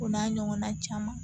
O n'a ɲɔgɔnna caman